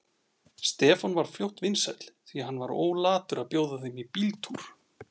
Stefán varð fljótt vinsæll, því hann var ólatur að bjóða þeim í bíltúr.